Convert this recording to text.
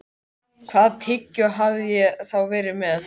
Hvaða tyggjó hafði ég þá verið með?